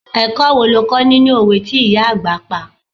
Ẹ̀kọ́ wo lo kó nínú òwe tí ìyá àgbà pa?